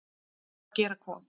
Að gera hvað?